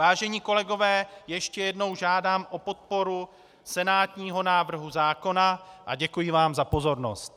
Vážení kolegové, ještě jednou žádám o podporu senátního návrhu zákona a děkuji vám za pozornost.